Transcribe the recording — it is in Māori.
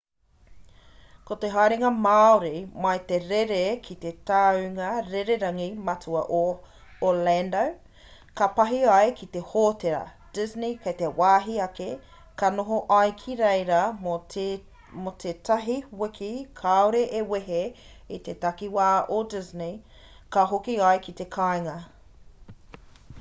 ko te haerenga māori mai he rere ki te tāunga rererangi matua o orlando ka pahi ai ki te hōtera disney kei te wāhi ake ka noho ai ki reira mō te tahi wiki kāore e wehe i te takiwā o disney ka hoki ai ki te kāinga